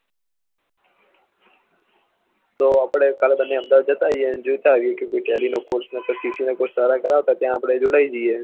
તો આપળે બન્ને અમદાવાદ જતા આયીયે અને જોયતા આયીયે કે કોઈ ટેલી નો કોર્ષ ને પછી ccc નો કોર્ષ સારા કરાવતા હોય તો અમે જોડાય જયીયે